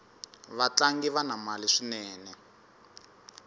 vatlangi vana mali swinene